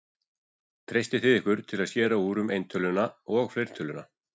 Treystið þið ykkur til að skera úr um eintöluna og fleirtöluna?